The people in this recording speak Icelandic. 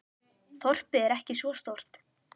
Þorpið er ekki svo stórt.